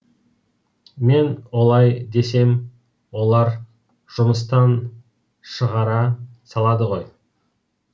мен олай десем олар жұмыстан шығара салады ғой